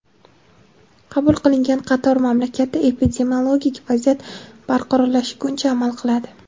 Qabul qilingan qaror mamlakatda epidemiologik vaziyat barqarorlashguncha amal qiladi.